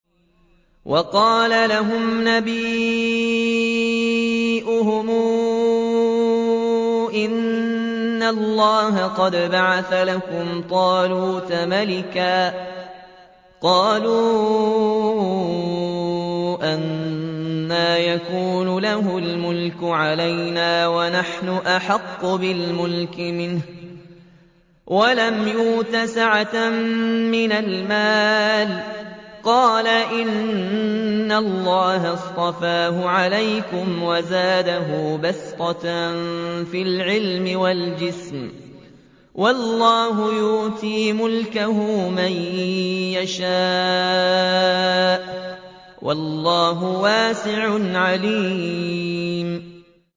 وَقَالَ لَهُمْ نَبِيُّهُمْ إِنَّ اللَّهَ قَدْ بَعَثَ لَكُمْ طَالُوتَ مَلِكًا ۚ قَالُوا أَنَّىٰ يَكُونُ لَهُ الْمُلْكُ عَلَيْنَا وَنَحْنُ أَحَقُّ بِالْمُلْكِ مِنْهُ وَلَمْ يُؤْتَ سَعَةً مِّنَ الْمَالِ ۚ قَالَ إِنَّ اللَّهَ اصْطَفَاهُ عَلَيْكُمْ وَزَادَهُ بَسْطَةً فِي الْعِلْمِ وَالْجِسْمِ ۖ وَاللَّهُ يُؤْتِي مُلْكَهُ مَن يَشَاءُ ۚ وَاللَّهُ وَاسِعٌ عَلِيمٌ